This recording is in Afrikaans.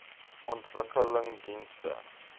ontwikkelingdienste